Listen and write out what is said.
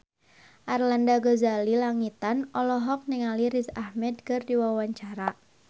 Arlanda Ghazali Langitan olohok ningali Riz Ahmed keur diwawancara